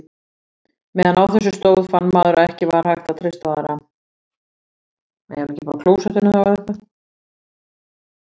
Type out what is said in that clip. Meðan á þessu stóð fann maður að ekki var hægt að treysta á aðra.